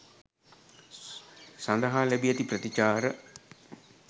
සඳහා ලැබී ඇති ප්‍රතිචාර.